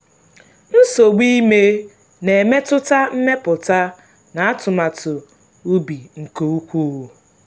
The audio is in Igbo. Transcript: nsogbu ime na-emetụta mmepụta na atụmatụ ubi nke ukwuu.